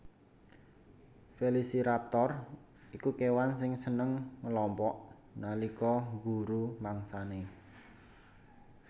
Velociraptor iku kèwan sing seneng ngelompok nalika mburu mangsanè